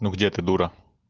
ну где ты дура